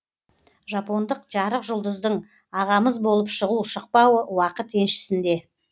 жапондық жарық жұлдыздың ағамыз болып шығу шықпауы уақыт еншісінде